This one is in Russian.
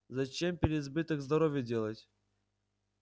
зачем переизбыток здоровья делать